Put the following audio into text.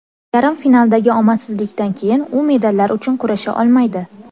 Yarim finaldagi omadsizlikdan keyin u medallar uchun kurasha olmaydi.